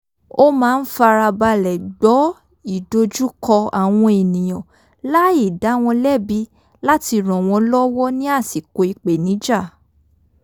ó máa ń farabalẹ̀ gbọ́ ìdojúkọ àwọn ènìyàn láì dá wọn lẹ́bi láti ràn wọn lọ́wọ́ ní àsìkò ìpènijà